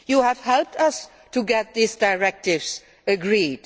You have helped us to get these directives agreed.